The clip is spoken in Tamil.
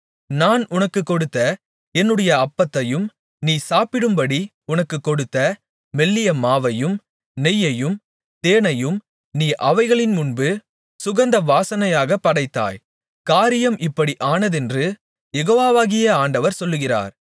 நான் உனக்குக் கொடுத்த என்னுடைய அப்பத்தையும் நீ சாப்பிடும்படி உனக்குக் கொடுத்த மெல்லிய மாவையும் நெய்யையும் தேனையும் நீ அவைகளின்முன்பு சுகந்த வாசனையாகப் படைத்தாய் காரியம் இப்படி ஆனதென்று யெகோவாகிய ஆண்டவர் சொல்லுகிறார்